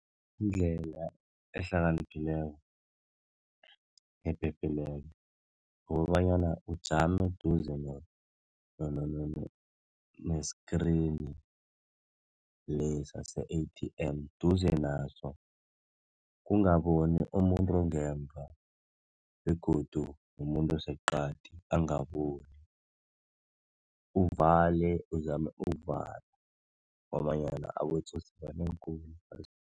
Indlela ehlakaniphileko, ephephileko kukobanyana ujame eduze neskrini lesa se-A_T_M duze naso. Kungaboni umuntu ongemva begodu umuntu oseqadi angaboni. Uvale uzame ukuvala ngobanyana abotsotsi banengi khulu ephasini.